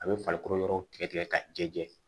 A bɛ farikolo yɔrɔ tigɛ ka jɛ jɛ